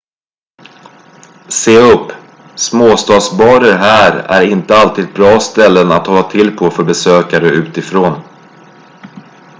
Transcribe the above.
se upp småstadsbarer här är inte alltid bra ställen att hålla till på för besökare utifrån